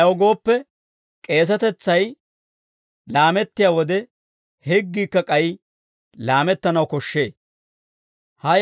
Ayaw gooppe, k'eesetetsay laamettiyaa wode, higgiikka k'ay laamettanaw koshshee.